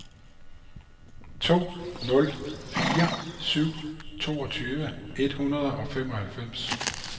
to nul fire syv toogtyve et hundrede og femoghalvfems